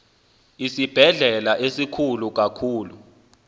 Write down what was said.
isibhedlele sikhulu kakhulu